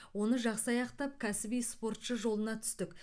оны жақсы аяқтап кәсіби спортшы жолына түстік